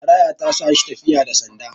karaya ta sa shi tafiyabda sanda